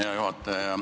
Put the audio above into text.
Hea juhataja!